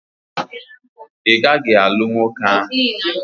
Ị gaghị anụ nwoke ahụ!